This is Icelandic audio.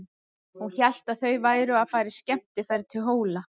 Hún hélt að þau væru að fara í skemmtiferð til Hóla.